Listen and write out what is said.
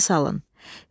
Yada salın.